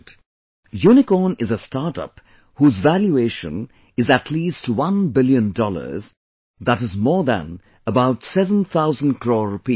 'Unicorn' is a startup whose valuation is at least 1 Billion Dollars, that is more than about seven thousand crore rupees